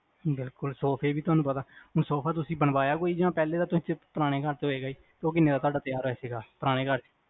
ਸੋਫੇ ਵੀ ਤੁਹਾਨੂੰ ਪਤਾ ਬਣਵਾਇਆ ਕੋਈ ਜਾ ਪਹਿਲੇ ਦਾ ਪੁਰਾਣੇ ਘਰ ਦਾ ਉਹ ਕਿਹਨੇ ਦਾ ਤਿਆਰ ਹੋਇਆ, ਪੁਰਾਣੇ ਘਰ ਦਾ